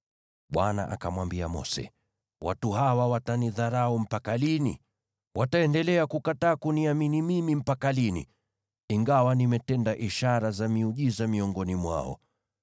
Bwana akamwambia Mose, “Watu hawa watanidharau mpaka lini? Wataendelea kukataa kuniamini mimi mpaka lini, ingawa nimetenda ishara za miujiza miongoni mwao?